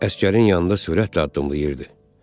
Əsgərin yanında sürətlə addımlayırdı.